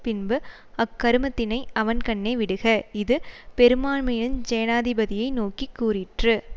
பின்பு அக்கருமத்தினை அவன்கண்ணே விடுக இது பெரும்பான்மையுஞ் சேனாதிபதியை நோக்கி கூறிற்று